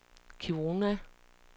Kiruna